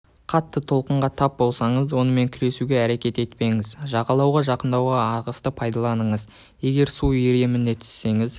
қатты толқынға тап болсаңыз онымен күресуге әрекет етпеңіз жағалауға жақындауға ағысты пайдаланыңыз егер су иіріміне түссеңіз